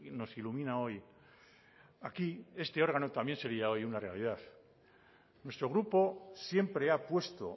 nos ilumina hoy aquí este órgano también sería hoy una realidad nuestro grupo siempre ha puesto